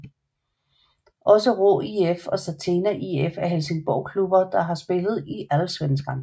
Også Råå IF og Stattena IF er Helsingborgsklubber der har spillet i Allsvenskan